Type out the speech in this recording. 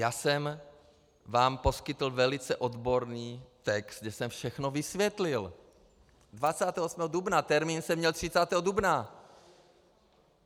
Já jsem vám poskytl velice odborný text, kde jsem všechno vysvětlil, 28. dubna, termín jsem měl 30. dubna.